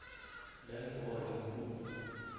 lamb or nku